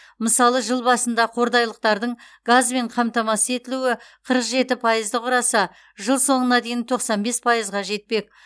мысалы жыл басында қордайлықтардың газбен қамтамасыз етілуі қырық жеті пайызды құраса жыл соңына дейін тоқсан бес пайызға жетпек